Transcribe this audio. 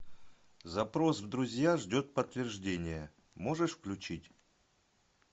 запрос в друзья ждет подтверждения можешь включить